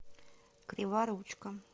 криворучко